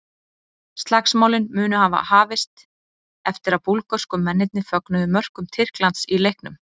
Slagsmálin munu hafa hafist eftir að búlgörsku mennirnir fögnuðu mörkum Tyrklands í leiknum.